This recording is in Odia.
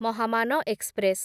ମହାମାନ ଏକ୍ସପ୍ରେସ୍